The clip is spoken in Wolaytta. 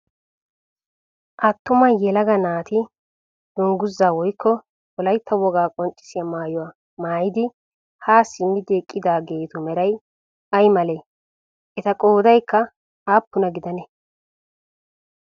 Attuma yelaga naati dungguzzaa woyikko wolaytta wogaa qonccissiya maayuwa maayidi haa simmidi eqqidaageetu meray ay malee? Eta qoodayikka appuna gidanee?